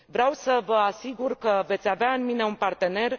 Vreau să vă asigur că veți avea în mine un partener.